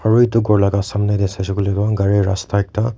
aru edu khor laka samnae tae saishey koilae tu gari rasta ekta.